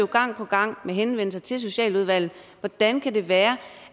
gang på gang med henvendelser til socialudvalget hvordan kan det være